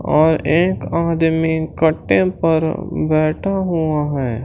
और एक आदमी कट्टे पर बैठा हुआ है।